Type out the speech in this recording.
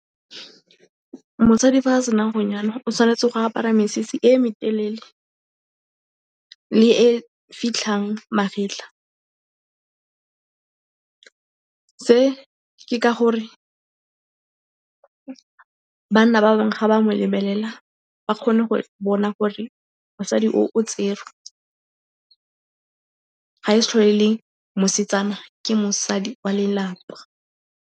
Mosadi fa a sena go nyalwa, o tshwanetse go apara mesese e e metelele. Le e fitlhang magetlha. Se ke ka gore banna ba bangwe ga ba mo lebelela, ba kgone go bona gore mosadi o, o tserwe. Ga e sa tlhole e le mosetsana, ke mosadi wa lelapa.